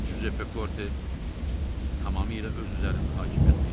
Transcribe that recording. Cüzeppe Korte tamamilə öz üzərində hakimiyyətini itirdi.